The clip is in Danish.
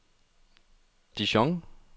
Dijon